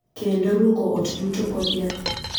Kendo lwoko ot duto kod yath.